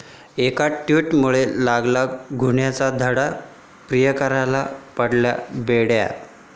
एका 'टॅटू'मुळे लागला गुन्ह्याचा छडा, प्रियकराला पडल्या बेड्या!